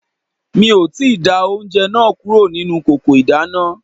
Mi ò tíì da oúnjẹ náà kúrò nínú kòkò ìdáná